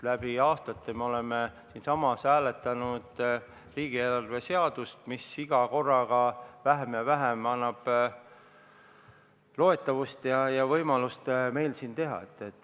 Läbi aastate oleme siinsamas hääletanud riigieelarve seadust, mis on iga korraga vähem ja vähem loetav ning aina vähem on meil võimalust siin midagi teha.